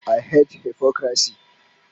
I hate hypocrisy